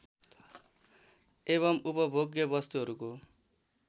एवं उपभोग्य वस्तुहरूको